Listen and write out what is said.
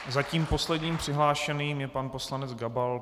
Zatím posledním přihlášeným je pan poslanec Gabal.